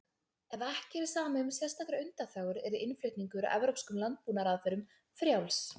Ef ekki yrði samið um sérstakar undanþágur yrði innflutningur á evrópskum landbúnaðarafurðum frjáls.